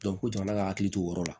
ko jamana ka hakili t'o yɔrɔ la